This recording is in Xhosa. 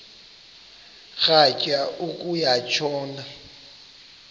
rhatya uku tshona